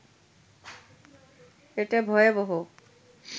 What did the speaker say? এটা ভয়াবহ